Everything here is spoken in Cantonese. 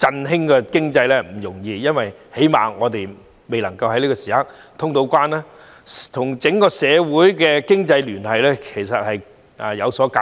振興經濟並不容易，因為起碼現時仍未通關，整個社會的經濟聯繫亦存有隔膜。